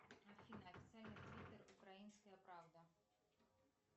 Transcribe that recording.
афина официальный твиттер украинская правда